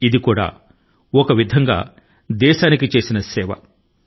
ఇది కూడా మన స్వంత విధానం లో మన దేశాని కి సేవ చేసినట్లే అవుతుంది